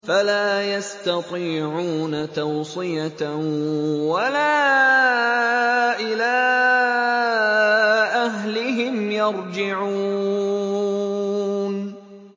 فَلَا يَسْتَطِيعُونَ تَوْصِيَةً وَلَا إِلَىٰ أَهْلِهِمْ يَرْجِعُونَ